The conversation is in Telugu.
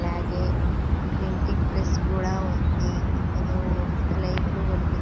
అలాగే ప్రింటింగ్ ప్రెస్ కూడా ఉంది ఇందులో లైట్లు వెలుగు--